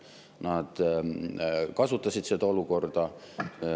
Nad kasutasid seda olukorda.